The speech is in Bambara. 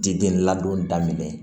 Diden ladon daminɛ